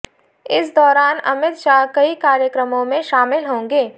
इस दौरान अमित शाह कई कार्यक्रमों में शामिल होंगे